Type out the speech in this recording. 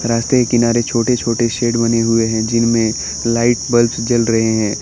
घर के किनारे छोटे छोटे शेड बने हुए हैं जिनमें लाइट बल्ब जल रहे हैं।